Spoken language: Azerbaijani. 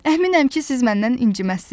Əminəm ki, siz məndən inciməzsiz.